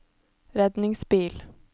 redningsbil